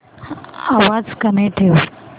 आवाज कमी ठेवा